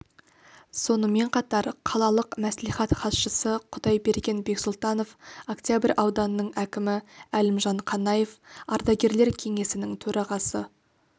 сонымен қатар қалалық мәслихат хатшысы құдайберген бексұлтанов октябрь ауданының әкімі әлімжан қанаев ардагерлер кеңесінің төрағасы